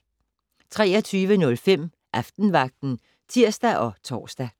23:05: Aftenvagten (tir og tor)